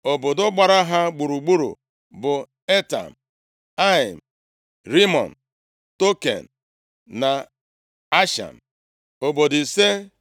Obodo gbara ha gburugburu bụ Etam, Ain, Rimọn, Token na Ashan, obodo ise,